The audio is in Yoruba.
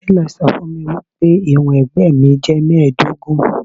Télọ̀ sọ fún mi pé ìwọ̀n ẹ̀gbẹ́ mi jẹ́ mẹ́ẹ̀ẹ́dógún.